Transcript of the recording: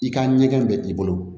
I ka ɲɛgɛn bɛ i bolo